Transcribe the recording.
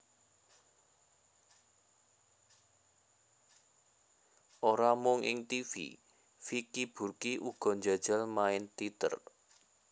Ora mung ing tivi Vicky Burky uga njajal main téater